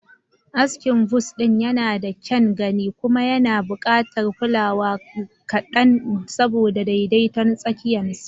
Askin buzz ɗin yana da kyan gani kuma yana buƙatar kulawa kaɗan saboda daidaiton tsayinsa.